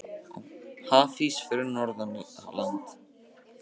Hafís fyrir norðan land